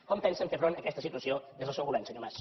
com pensen fer front a aquesta situació des del seu govern senyor mas